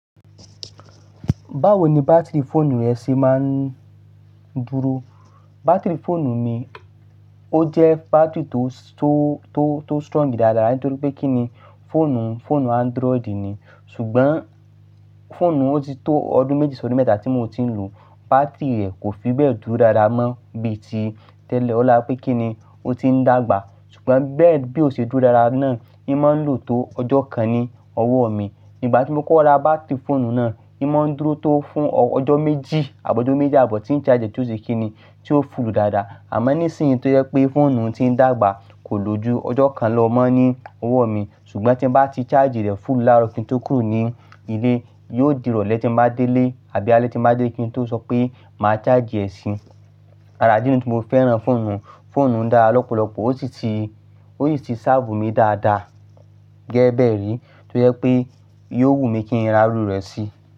Báwo ni bátìrì fóònù rẹ ṣe máa ń dúró? Bátìrì fóònù mi, ó jẹ́ bátìrì tó, tó, tó, tó strong dáadáa nítorí pé kí ni, fóònù, fóònù Android ni, ṣùgbọ́n fóònù ó ti tó ọdún méjì sọdún mẹ́ta tí mo ti ń lò ó, bátìrì rẹ̀ kò fi bẹ́ẹ̀ dúró dáadáa mọ́ bí i ti tẹ́lẹ̀. Ọlá pé kí ni, ó ti ń dàgbà, ṣùgbọ́n bẹ́ẹ̀ bí ó ṣe dúró dáadáa náà, imá ń lò tó ọjọ́ kan ní ọwọ́ mi. Igbà tí mo kọ ra bátìrì fóònù náà, imá ń dúró tó fún ọjọ́ méjì àbọ̀ ọjọ́ méjì àbọ̀ tí ń charge é tó ṣe kí ni, tí ó full dáadáa. Àmọ́ nísìnyí tó jẹ pé fóònù ti ń dàgbà kò loju ọjọ́ kan lọ́ mọ́ ní ọwọ́ mi. Ṣùgbọ́n tí n bá ti charge rẹ̀ full láàrọ̀ kí n tó kúrò ní ilé, yóò dìrọ̀lẹ́ tí n bá dé ilé àbí alẹ́ tí n bá dé kí n tó sọ pé mà charge e sí. Ará idí ni tí mo fẹ́ran fóònù, fóònù n dára lọ́pọ̀lọpọ̀, ó sì ti, ó sì ti serve mi dáadáa. Gẹ́gẹ́ bẹ́ẹ̀ rí tó jẹ pé yóò wù mí kí n ra iru rẹ̀ sí.